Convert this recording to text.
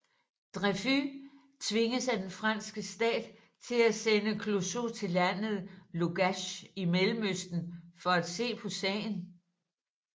Dreyfus tvinges af den franske stat til at sende Clouseau til landet Lugash i Mellemøsten for at se på sagen